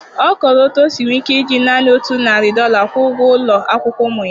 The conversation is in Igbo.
Ọ kọrọ otú o si nwee ike iji naanị otu narị dollar kwụọ ụgwọ ụlọ akwụkwọ ụmụ ya